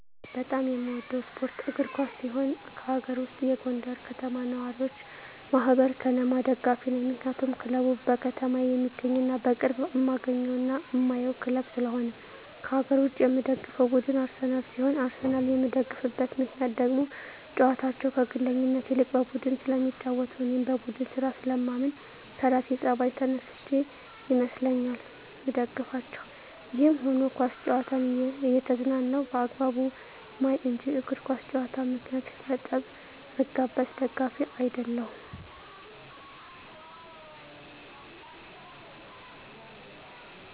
በጣም የምወደው ስፓርት እግር ኳስ ሲሆን ከአገር ውስጥ የጎንደር ከተማ ነዋሪወች ማህበር(ከነማ) ደጋፊ ነኝ ምክንያቱም ክለቡ በከተማየ የሚገኝና በቅርብ እማገኘውና እማየው ክለብ ስለሆነ። ከአገር ውጭ የምደግፈው ቡድን አርሰናል ሲሆን አርሰናልን የምደግፍበት ምክንያት ደግሞ ጨዋታቸው ከግለኝነት ይልቅ በቡድን ስለሚጫወቱ እኔም በቡድን ስራ ስለማምን ከራሴ ጸባይ ተነስቸ ይመስለኛል ምደግፋቸው። ይህም ሁኖ ኳስ ጨዋታን እየተዝናናው በአግባቡ ማይ እንጅ በእግር ኳስ ጨዋታ ምክንያት ለጠብ ምጋበዝ ደጋፊ አደለሁም።